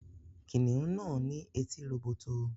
Kìnìún náà ní etí róbótó